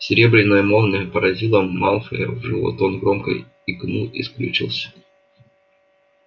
серебряная молния поразила малфоя в живот он громко икнул и скрючился